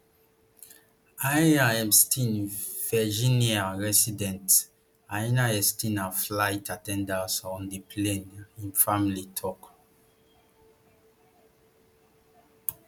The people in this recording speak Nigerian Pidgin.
ian epstein virginia resident ian epstein na flight at ten dant on di plane im family tok